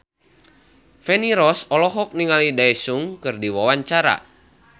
Feni Rose olohok ningali Daesung keur diwawancara